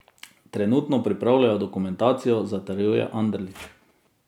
Trenutno pripravljajo dokumentacijo, zatrjuje Anderlič.